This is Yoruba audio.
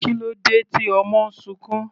Kílódé tí ọmọ sunkún?